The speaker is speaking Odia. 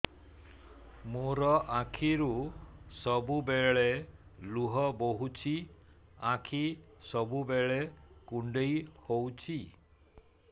ମୋର ଆଖିରୁ ସବୁବେଳେ ଲୁହ ବୋହୁଛି ଆଖି ସବୁବେଳେ କୁଣ୍ଡେଇ ହଉଚି